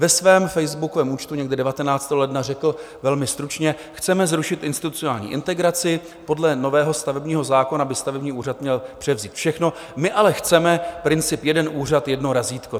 Ve svém facebookovém účtu někdy 19. ledna řekl velmi stručně: Chceme zrušit institucionální integraci, podle nového stavebního zákona by stavební úřad měl převzít všechno, my ale chceme princip jeden úřad - jedno razítko.